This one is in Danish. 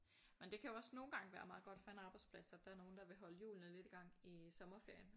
Men det kan jo også nogle gange være meget godt for en arbejdsplads at der er nogen der vil holde hjulene lidt i gang i sommerferien